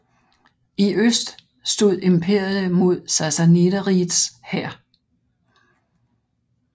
I øst stod imperiet mod Sassaniderrigets hær